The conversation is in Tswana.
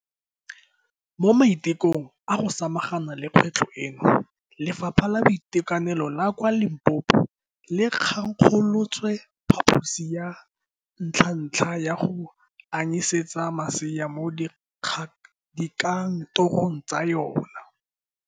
Mo maitekong a go samaga na le kgwetlho eno, Lefapha la Boitekanelo la kwa Limpopo le thankgolotse phaposi ya ntlhantlha ya go anyisetsa masea mo dikantorong tsa yona.